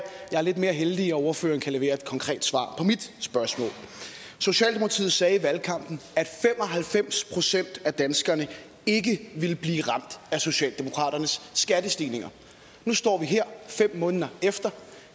jeg er lidt mere heldig og ordføreren kan levere et konkret svar på mit spørgsmål socialdemokratiet sagde i valgkampen at fem og halvfems procent af danskerne ikke ville blive ramt af socialdemokraternes skattestigninger nu står vi her fem måneder efter